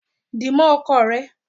Di mó ọkọ rẹ!